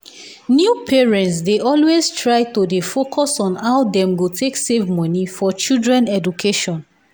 new parents dey always try to dey focus on how dem go take save money for children education.